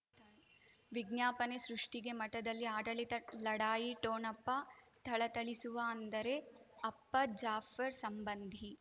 ವಿಜ್ಞಾಪನೆ ಸೃಷ್ಟಿಗೆ ಮಠದಲ್ಲಿ ಆಡಳಿತ ಲಢಾಯಿ ಠೊಣಪ ಥಳಥಳಿಸುವ ಅಂದರೆ ಅಪ್ಪ ಜಾಫರ್ ಸಂಬಂಧಿ